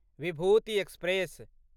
Vibhuti express